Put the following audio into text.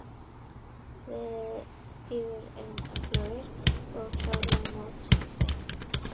Þeir eru mjög öflugir og við verðum klárir á móti þeim.